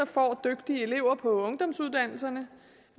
får dygtige elever på ungdomsuddannelserne